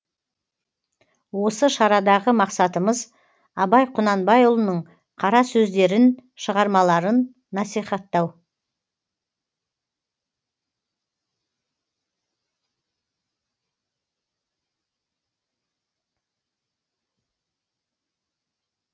осы шарадағы мақсатымыз абай құнанбайұлының қара сөздерін шығармаларын насихаттау